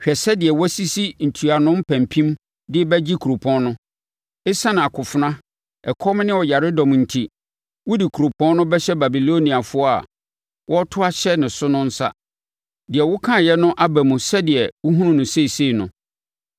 “Hwɛ sɛdeɛ wɔasisi ntuano mpampim de rebɛgye kuropɔn no. Esiane akofena, ɛkɔm ne ɔyaredɔm enti, wɔde kuropɔn no bɛhyɛ Babiloniafoɔ a wɔreto ahyɛ ne so no nsa. Deɛ wokaeɛ no aba mu sɛdeɛ wohunu no seesei no.